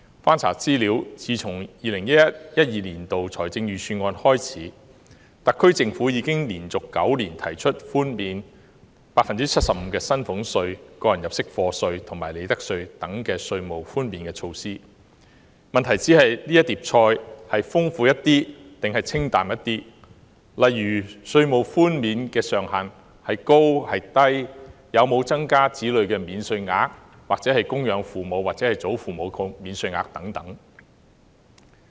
翻查資料，自 2011-2012 年度的預算案開始，特區政府已連續9年提出寬免 75% 的薪俸稅、個人入息課稅及利得稅等措施，問題只是這碟菜是豐富點還是清淡點，例如稅務寬免的上限孰高孰低、有否增加子女免稅額或供養父母或祖父母的免稅額等。